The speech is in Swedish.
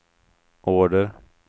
order